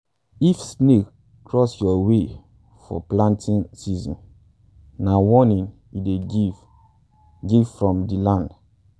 if snake cross your way for planting season na warning e dey give give from di land.